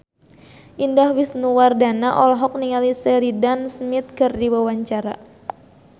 Indah Wisnuwardana olohok ningali Sheridan Smith keur diwawancara